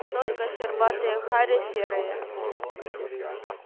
только щербатые хари серые